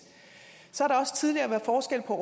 så har der også tidligere været forskel på